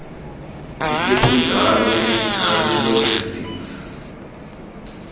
isekunjalo medical logistics